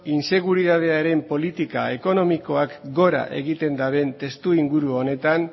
inseguridadearen politika ekonomikoak gora egiten duten testuinguru honetan